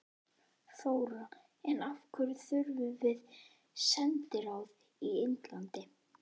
Ef nauðsyn krefur mun ég gera þar smávægilegar breytingar.